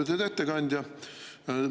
Lugupeetud ettekandja!